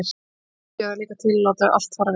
Síðan átti ég það líka til að láta allt fara vel.